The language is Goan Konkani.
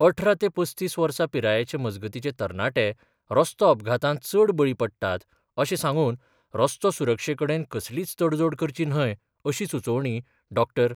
अठरा ते पस्तीस वर्सा पिराये मजगतीचे तरणाटे रस्तो अपघातांत चड बळी पडटात अशें सांगून रस्तो सुरक्षे कडेन कसलीच तडजोड करची न्हय अशी सुचोवणी डॉ.